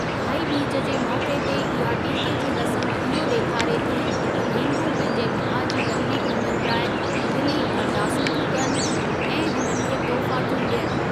भाई ॿीज जे मौके ते इहा टीके जी रस्‍म इहो ॾेखारे थी त भेनरूं पंहिंजे भाउ जी लंबी उमिरि लाइ दिली अरदासूं थियूं कनि ऐं हुननि खे तोहफा थियूं ॾियनि।